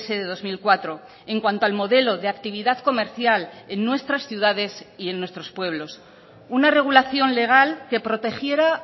de dos mil cuatro en cuanto al modelo de actividad comercial en nuestras ciudades y en nuestros pueblos una regulación legal que protegiera